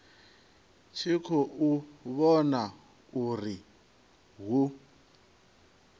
tshi khou vhona uri hu